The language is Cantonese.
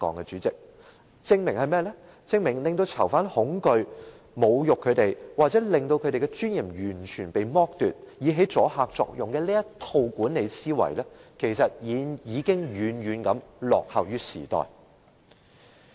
主席，這證明使囚犯恐懼、侮辱他們，或完全剝奪他們的尊嚴，以起阻嚇作用的這套管理思維，其實已經遠遠落後於時代了。